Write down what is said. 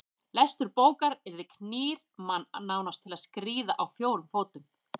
Lestur bókar yðar knýr mann nánast til að skríða á fjórum fótum.